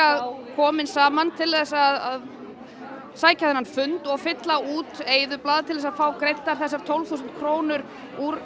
komin saman til að sækja þennan fund og fylla út eyðublað til þess að fá greiddar þessar tólf þúsund krónur úr